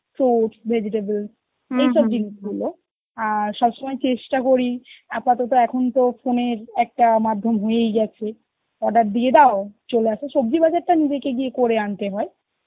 fruits, vegetables, এইসব জিনিসগুলো, আর সব সময় চেষ্টা করি আপাতত এখন তো phone এর একটা মাধ্যম হয়ে গেছে, order দিয়ে দাও, চলে আসো, সবজি বাজারটা নিজেকে গিয়ে করে আনতে হয়